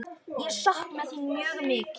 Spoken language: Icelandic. Ég sakna þín mjög mikið.